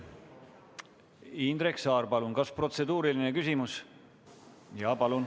Indrek Saar, palun, kas protseduuriline küsimus?